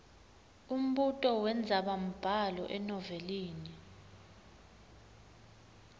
umbuto wendzabambhalo enovelini